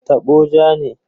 Tabo ja ne.